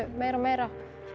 meira og meira